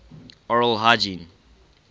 oral hygiene